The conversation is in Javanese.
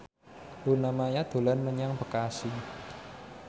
Luna Maya dolan menyang Bekasi